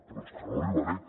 però és que no hi arribarem